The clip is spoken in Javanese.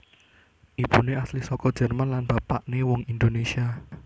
Ibuné asli saka Jerman lan bapakné wong Indonésia